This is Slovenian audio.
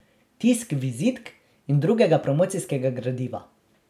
Tisk vizitk in drugega promocijskega gradiva.